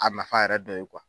A nafa yɛrɛ dɔ ye